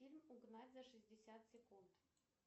фильм угнать за шестьдесят секунд